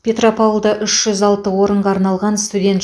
петропавлда үш жүз алты орынға арналған студент